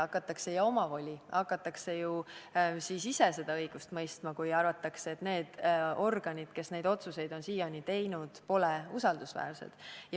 Hakatakse ju omavolitsema ja ise seda õigust mõistma, kui arvatakse, et need organid, kes neid otsuseid on siiani teinud, pole usaldusväärsed.